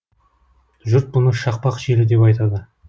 жұрт бұны шақпақ желі деп айтады